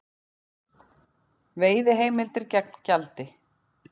Veiðiheimildir gegn gjaldi